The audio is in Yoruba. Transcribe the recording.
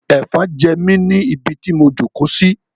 Ẹ̀fọn ń jẹ mí ni ibi tí mo jókòó sí.